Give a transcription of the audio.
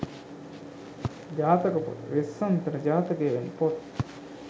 ජාතක පොත, වෙස්සන්තර ජාතකය වැනි පොත්